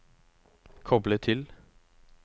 koble til